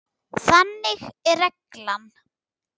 Þannig er reglan.